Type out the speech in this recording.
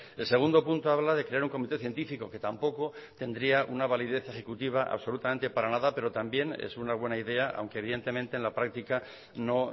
el segundo punto habla de crear un comité científico que tampoco tendría una validez ejecutiva absolutamente para nada pero también es una buena idea aunque evidentemente en la práctica no